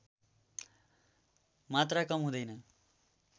मात्रा कम हुँदैन